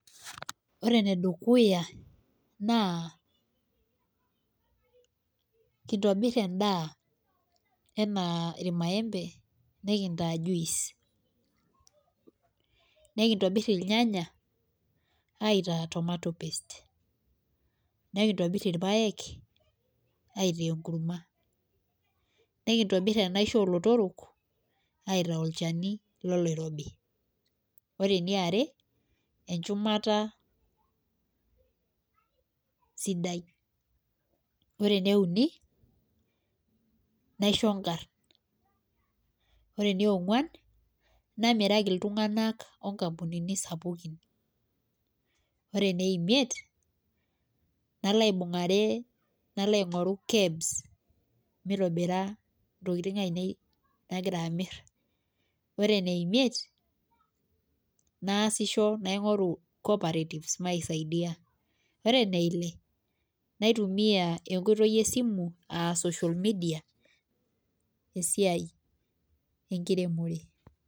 Ore ene dukuya naa kitobir edaa anaa ilmaembe nikintaa juice ,nikintobit ilnyanya aitaa tomatoe paste nikintobir, ilpaek, aitaa enkurma. nikintobir enaisho oolotorok aitaa olchani loloirobi. ore eniare, tenchumata, sidai. ore eneuni, naisho nkarna. ore enionguan naamiraki iltunganak inkampunini sapukin, ore ene imiet nalo aing'oru kebs mitobira ntokitin ainei nagira amir. ore ene imiet naasisho naingoru, cooperatives misaidia. ore eneile naitumiae enkoitoi esimu aa social media esiai enkiremore.